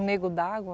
O nego d'água.